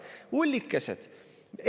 Ullikesed!